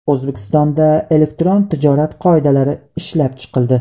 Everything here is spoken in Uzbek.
O‘zbekistonda Elektron tijorat qoidalari ishlab chiqildi .